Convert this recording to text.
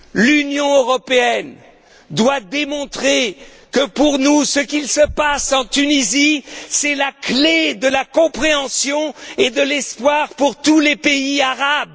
L'Union européenne doit démonter que, pour nous, ce qui se passe en Tunisie, c'est la clé de la compréhension et de l'espoir pour tous les pays arabes.